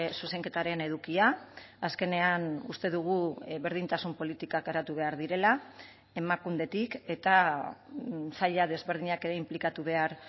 zuzenketaren edukia azkenean uste dugu berdintasun politikak garatu behar direla emakundetik eta saila desberdinak ere inplikatu behar